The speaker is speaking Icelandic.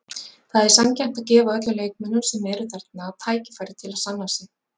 Það er sanngjarnt að gefa öllum leikmönnum sem eru þarna tækifæri til að sanna sig.